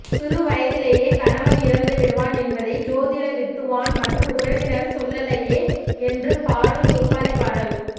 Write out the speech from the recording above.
சிறு வயதிலேயே கணவன் இறந்துவிடுவான் என்பதை ஜோதிட வித்துவான் மற்றும் உறவினர்கள் சொல்லலையே என்று பாடும் ஒப்பாரிப் பாடல்